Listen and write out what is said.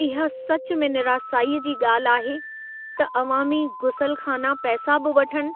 इहा सचु में निरासाईअ जी ॻाल्हि आहे त अवामी गुसलख़ाना पैसा बि वठनि